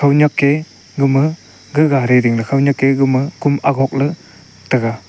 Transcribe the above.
khaunyak ke gama gaga gari ding la khaunyak kom agog le.